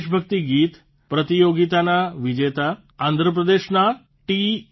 દેશભક્તિ ગીત પ્રતિયોગિતાના વિજેતા આંધ્રપ્રદેશના ટી